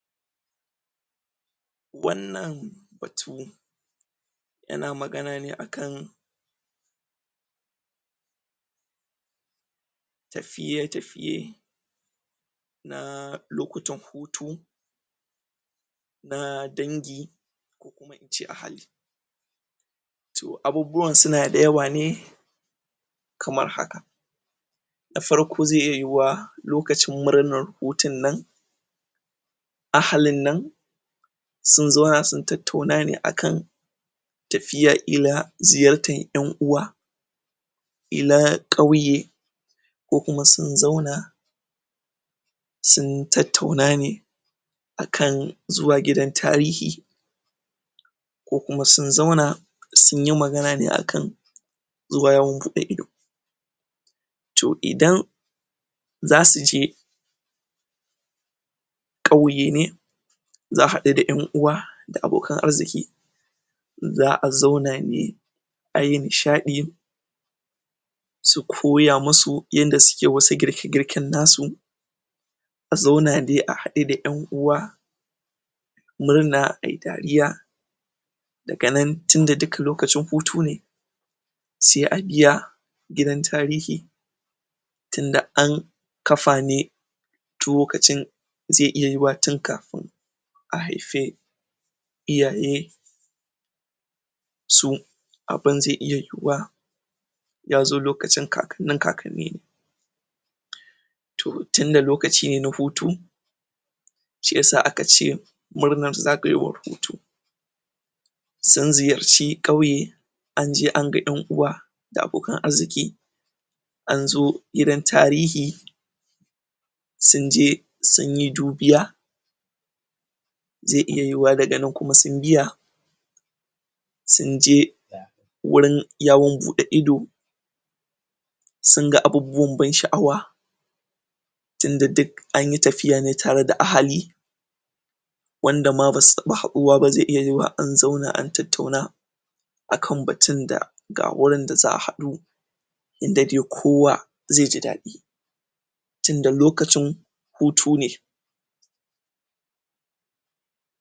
wannan batu yana magana ne akan tafiye tafiye na lokutan hutu na dangi ko kuma ince ahali to abubuwan suna da yawa ne kamar haka da farko zai iya yiwuwa lokacin murnan hutun nan ahalin nan sun zauna sun tattauna ne akan tafiya ila ziyartan ƴan uwa ila ƙauye ko kuma sun zauna sun tattauna ne akan zuwa gidan tarihi ko kuma sun zauna sunyi magana ne akan zuwa yawon buɗe ido to idan zasuje ƙauye ne za'a haɗu da ƴan uwa da abokan arziki za'a zauna ne ayi nishaɗi su koya musu yanda suke wani girke girken nasu a zauna de a haɗu da ƴan uwa murna ayi dariya daga nan tinda duka lokacin hutu ne se a biya gidan tarihi tinda an kafa ne tuwo kacin ai iya yiwuwa tin kafin a haife iyaye su abin zai iya yiwuwa yazo lokacin kakannin kakanni ne? to tinda lokaci ne na hutu shiyasa akace murnar zagayowar hutu sun ziyarci ƙauye anje an ga ƴan uwa da abokan arziki anzo gidan tarihi sunje sunyi dubiya zai iya yiwuwa daga nan kuma sun biya sunje? wurin yawon buɗe ido sun ga abubbuwan ban sha'awa tinda duk anyi tafiya ne tare da ahali wanda ma basu taɓa haɗuwa ba zai iya yiwuwa an zauna an tattauna akan batun da ga wurin da za'a haɗu inda de kowa ze ji daɗi tinda lokacin hutu ne